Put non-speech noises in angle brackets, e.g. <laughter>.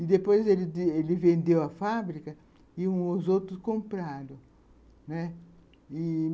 E depois ele <unintelligible> ele vendeu a fábrica e os outros compraram, né , e